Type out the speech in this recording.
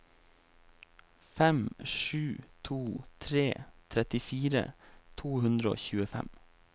fem sju to tre trettifire to hundre og tjuefem